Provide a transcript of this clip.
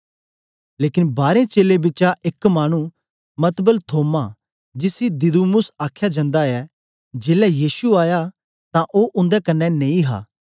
लेकन बारें चेलें बिचा एक मानु मतबल थोमा जिसी दिदुमुस आख्या जंदा ऐं जेलै यीशु आया तां ओ उन्दे कन्ने नेई हा